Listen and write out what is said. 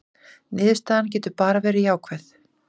Niðurstaðan getur bara verið jákvæð